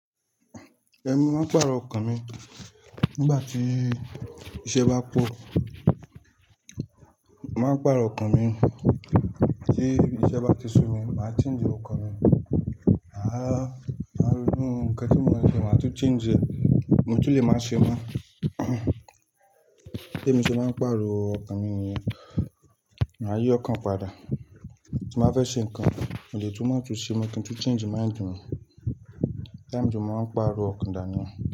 Ẹ̀mi máa ń pàrọ̀ ọkàn mi nígbà tí iṣẹ́ bá pọ̀. Màá pàrọ̀ ọkàn mi tí iṣẹ́ bá ti sú mi, màá change ọkàn mi. Mà ronú ǹnkan tí mo ń ṣe, màá tún change e. Mo tún lè máa ṣe mọ́. Bí èmi ṣe máa ń pàrọ̀ ọkàn mi nìyẹ, màá yí ọkàn padà. Tí màá fẹ́ ṣe ǹnkan, mo lè tún máa tún ṣe mọ́ kí n tu n change mind mi. Bí mo ṣe máa ń pàrọ̀ ọkàn dà nìyẹn.